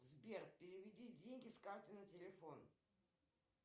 сбер переведи деньги с карты на телефон